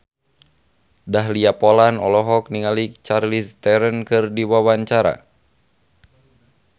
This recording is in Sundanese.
Dahlia Poland olohok ningali Charlize Theron keur diwawancara